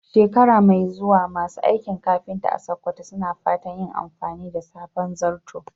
Shekara mai zuwa, masu aikin kafinta a Sakkwato suna fatan yin amfani da sabon zarto.